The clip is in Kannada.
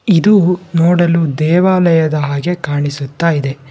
ಇದು ನೋಡಲು ದೇವಾಲಯದ ಹಾಗೆ ಕಾಣಿಸುತ್ತ ಇದೆ.